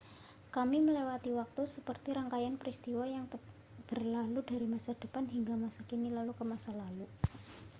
kami melewati waktu seperti rangkaian peristiwa yang berlalu dari masa depan hingga masa kini lalu ke masa lalu